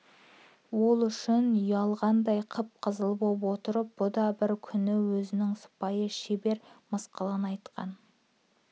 ол үшін ұялғандай қып-қызыл боп отырып бұ да бір күні өзінің сыпайы шебер мысқылын айтқан